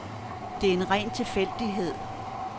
Det er en ren tilfældighed.